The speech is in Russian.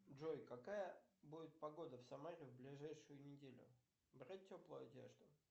джой какая будет погода в самаре в ближайшую неделю брать теплую одежду